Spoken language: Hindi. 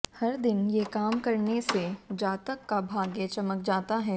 हर दिन ये काम करने से जातक का भाग्य चमक जाता है